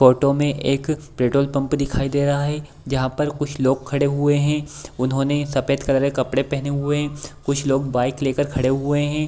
Photo में एक petrol pump दिखाई दे रहा है जहाँ पर कुछ लोग खड़े हुए हैं उन्होंने सफ़ेद कलर के कपड़े पहने हुए हैं कुछ लोग बाइक ले कर खड़े हुए हैं।